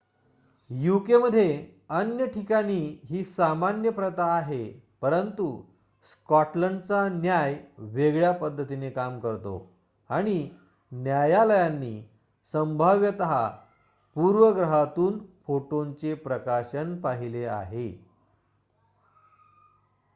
यूकेमध्ये अन्य ठिकाणी ही सामान्य प्रथा आहे परंतु स्कॉटलंडचा न्याय वेगळ्या पद्धतीने काम करतो आणि न्यायालयांनी संभाव्यतः पूर्वग्रहातून फोटोंचे प्रकाशन पाहिले आहे